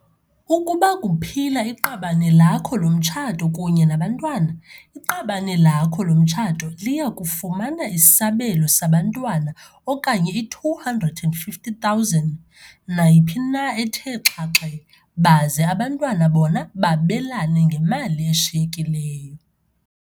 Ukuba kuphila iqabane lakho lomtshato kunye nabantwana, iqabane lakho lomtshato liya kufumana isabelo sabantwana okanye i-R250 000, nayiphi na ethe xhaxhe, baze abantwana bona babelane ngemali eshiyekileyo.